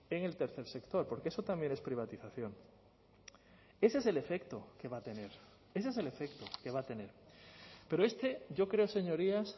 en el tercer sector porque eso también es privatización ese es el efecto que va a tener ese es el efecto que va a tener pero este yo creo señorías